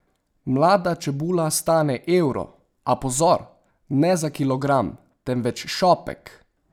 Mlada čebula stane evro, a pozor, ne za kilogram, temveč šopek!